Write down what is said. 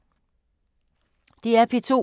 DR P2